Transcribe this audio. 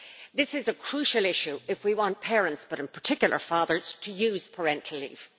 This is a crucial issue if we want parents, but in particular fathers, to use parental leave.